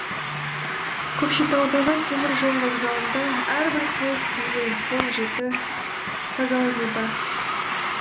көкшетаудағы теміржол вокзалында әрбір поезд келген соң жіті тазалануда